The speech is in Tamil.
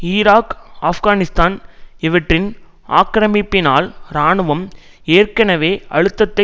ஈராக் ஆப்கானிஸ்தான் இவற்றின் ஆக்கிரமிப்பினால் இராணுவம் ஏற்கனவே அழுத்தத்தை